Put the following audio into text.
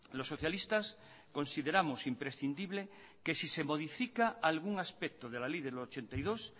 los socialistas consideramos imprescindible que si se modifica algún aspecto de la ley del ochenta y dos